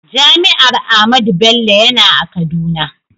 Jami'ar Ahmadu Bello yana a kaduna.